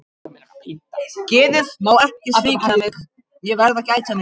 Geðið má ekki svíkja mig, ég verð að gæta mín.